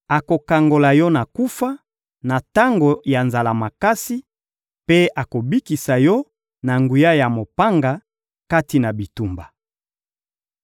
Akokangola yo na kufa, na tango ya nzala makasi; mpe akobikisa yo na nguya ya mopanga, kati na bitumba.